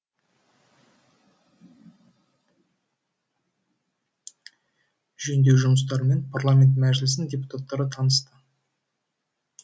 жөндеу жұмыстарымен парламент мәжілісінің депутаттары танысты